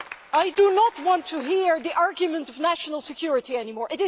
I do not want to hear the argument of national security anymore.